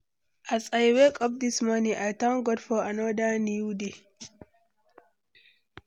As I wake up this morning, I thank God for another new day.